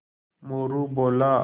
मोरू बोला